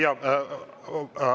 Jah.